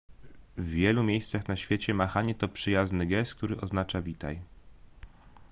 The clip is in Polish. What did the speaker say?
w wielu miejscach na świecie machanie to przyjazny gest który oznacza witaj